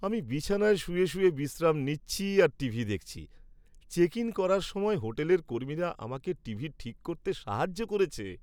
আমি বিছানায় শুয়ে বিশ্রাম নিচ্ছি আর টিভি দেখছি। চেক ইন করার সময় হোটেলের কর্মীরা আমাকে টিভি ঠিক করতে সাহায্য করেছে।